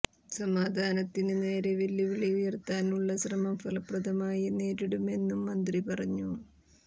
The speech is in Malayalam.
സമാധാനത്തിന് നേരേ വെല്ലുവിളി ഉയര്ത്താനുള്ള ശ്രമം ഫലപ്രദമായി നേരിടുമെന്നും മന്ത്രി പറഞ്ഞു